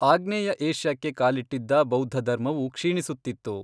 ಆಗ್ನೇಯ ಏಷ್ಯಾಕ್ಕೆ ಕಾಲಿಟ್ಟಿದ್ದ ಬೌದ್ಧಧರ್ಮವು ಕ್ಷೀಣಿಸುತ್ತಿತ್ತು.